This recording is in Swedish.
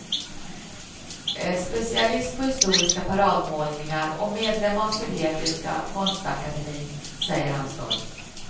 Specialist på historiska paradmålningar och medlem av sovjetiska konstakademin, säger han stolt.